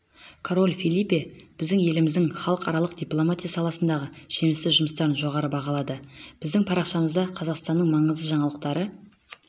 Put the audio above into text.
король фелипе біздің еліміздің халықаралық дипломатия саласындағы жемісті жұмыстарын жоғары бағалады біздің парақшамызда қазақстанның маңызды жаңалықтары